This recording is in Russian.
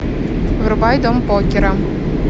врубай дом покера